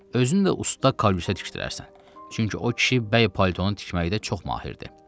Özünü də usta kəlbəsə tikdirərsən, çünki o kişi bəy paltonu tikməkdə çox mahirdir.